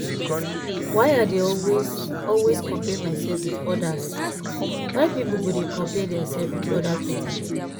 why i dey always always compare myself with odas why pipo go dey compare their sef with oda pipo?